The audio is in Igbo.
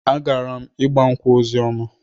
Agara m ịgba nkwụ Ozioma.